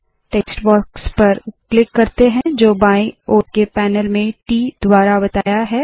text box पर click करते है जो बाएं ओर के पैनल में ट द्वारा बताया है